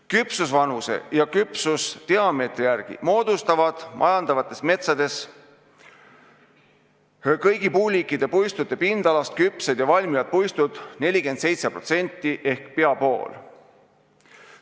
Küpsusvanuse ja küpsusdiameetri järgi moodustavad majandatavates metsades kõigi puuliikide puistute pindalast küpsed ja valmivad puistud 47% ehk peaaegu poole.